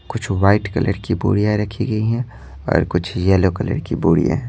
कुछ white colour की बुड़ियां रखी गई हैंऔर कुछ येलो कलर की बुड़ियां हैं।